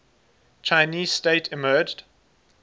chinese state emerged